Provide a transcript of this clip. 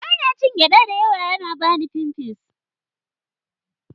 Ba na cin gyaɗa da yawa, yana bani pimples.